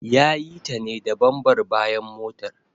Ya yi ta ne da bambar bayan motar.